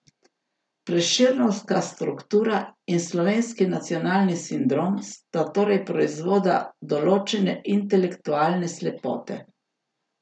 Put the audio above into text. Prešernovska struktura in slovenski nacionalni sindrom sta torej proizvoda določene intelektualne slepote!